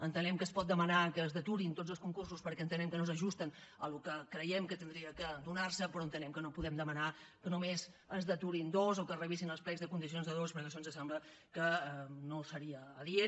entenem que es pot demanar que es deturin tots els concursos perquè entenem que no s’ajusten al que creiem que hauria de donar se però entenem que no podem demanar que només se’n deturin dos o que es revisin els plecs de condicions de dos perquè això ens sembla que no seria adient